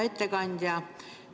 Hea ettekandja!